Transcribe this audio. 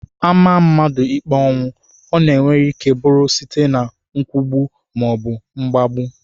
A maa mmadụ ikpe ọnwụ, ọ nwereike bụrụ site na nkwụgbu maọbụ mgbagbu